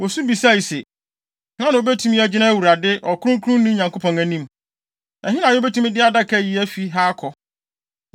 Wosu bisae se, “Hena na obetumi agyina Awurade, Ɔkronkronni Nyankopɔn anim? Ɛhe na yebetumi de adaka yi afi ha akɔ?”